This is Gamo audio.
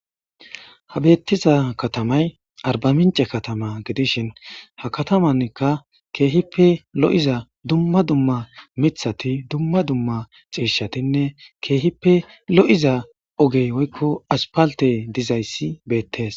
Ha betiza katamay arbaminche katama gidishn ha katamanika keehippe lo'iza dumma dumma mithat , cishatinne keehippe lo'iza ogey woyko asphaltey dizays betes.